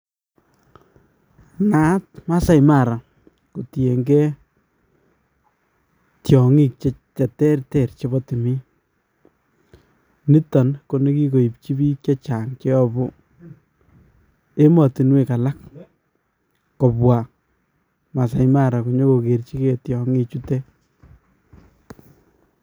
Naat Masai Mara kotieng'e tiong'ik cheterter chebo timiin, niton ko nekikoibchi biik chechang cheyobu emotinwek alak kobwa Maasai Mara konyokokerchikee tiong'ichutet.